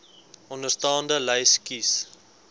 onderstaande lys kies